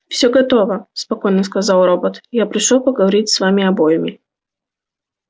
всё готово спокойно сказал робот я пришёл поговорить с вами обоими